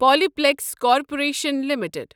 Pali پلیکِس corporation limited